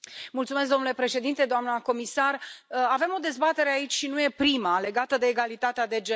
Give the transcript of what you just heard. Domnule președinte, doamnă comisar, avem o dezbatere aici, și nu e prima, legată de egalitatea de gen.